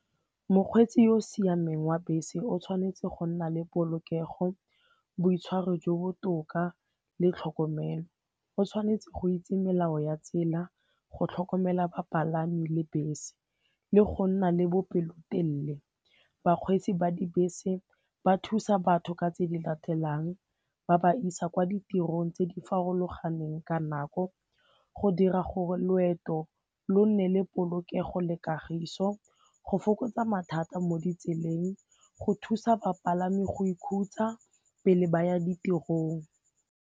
Mokgweetsi yo o siameng wa bese o tshwanetse go nna le polokego, boitshwaro jo bo botoka le tlhokomelo. O tshwanetse go itse melao ya tsela, go tlhokomela bapalami le bese le go nna le bopelotelele. Bakgweetsi ba dibese ba thusa batho ka tse di latelang, ba ba isa kwa ditirong tse di farologaneng ka nako, go dira gore loeto lo nne le polokego le kagiso, go fokotsa mathata mo ditseleng, go thusa bapalami go ikhutsa pele ba ya ditirong.